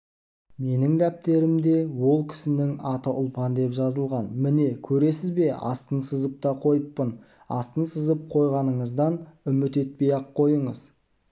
менің дәптерімде ол кісінің аты ұлпан деп жазылған міне көресіз бе астын сызып та қойыппын астын сызып қойғаныңыздан үміт етпей-ақ қойыңыз